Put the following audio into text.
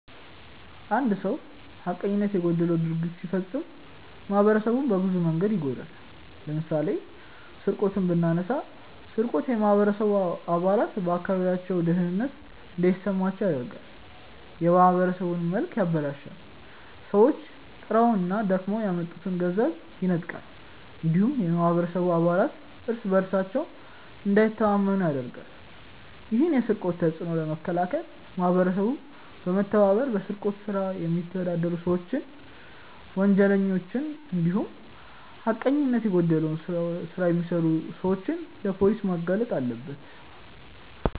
አንድ ሰው ሀቀኝነት የጎደለው ድርጊት ሲፈጽም ማህበረሰቡን በብዙ መንገድ ይጎዳል። ለምሳሌ ስርቆትን ብናነሳ ስርቆት የማህበረሰቡ አባላት በአካባቢያቸው ደህንነት እንዳይሰማቸው ያደርጋል፣ የማህበረሰቡን መልክ ያበላሻል፣ ሰዎች ጥረውና ደክመው ያመጡትን ገቢ ይነጥቃል እንዲሁም የማህበረሰቡ አባላት እርስ በእርሳቸው እንዳይተማመኑ ያደርጋል። ይህን የስርቆት ተጽዕኖ ለመከላከል ማህበረሰቡ በመተባበር በስርቆት ስራ የሚተዳደሩ ሰዎችን፣ ወንጀለኞችን እንዲሁም ሀቀኝነት የጎደለው ስራ የሚሰሩ ሰዎችን ለፖሊስ ማጋለጥ አለበት።